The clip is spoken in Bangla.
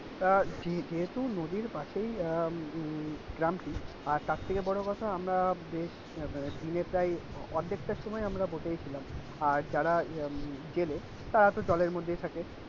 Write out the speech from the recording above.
আহ যেহেতু নদীর পাশেই উম গ্রামটি আর তার থেকে বড় কথা আমরা দিনে প্রায় অর্ধেকটা সময় আমরা বসেই ছিলাম আর যারা জেলে তারা ইয়প জলের, মধ্যেই থাকে।